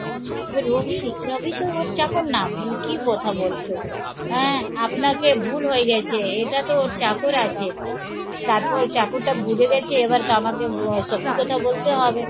রবি? রবি তো ওর চাকর নাম মানে কি কথা বলছো? হ্যাঁ আপনাকে ভুল হয়ে গেছে এটা তো ওর চাকর আছে তারপর চাকর টা বুঝে গেছে এবার তো আমাকে সত্যি কথা বলতে হবে